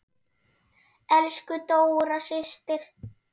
Elsku Dóra systir.